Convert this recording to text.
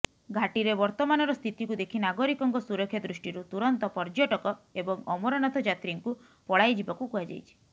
ଘାଟିରେ ବର୍ତ୍ତମାନର ସ୍ଥିତିକୁ ଦେଖି ନାଗରିକଙ୍କ ସୁରକ୍ଷା ଦୃଷ୍ଟିରୁ ତୁରନ୍ତ ପର୍ଯ୍ୟଟକ ଏବଂ ଅମରନାଥ ଯାତ୍ରୀଙ୍କୁ ପଳାଇଯିବାକୁ କୁହାଯାଇଛି